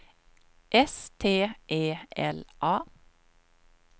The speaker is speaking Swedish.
S T E L A